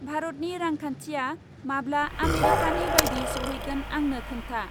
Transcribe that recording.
भारतनि रांखांन्थिया माब्ला आमेरिकानि बायदि सौहैगोन आंनो खोन्था?